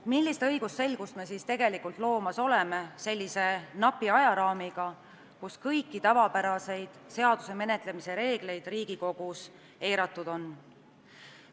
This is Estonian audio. Millist õigusselgust me siis tegelikult loomas oleme sellises napis ajaraamis, mille puhul kõiki tavapäraseid seaduseelnõu menetlemise reegleid on Riigikogus eiratud?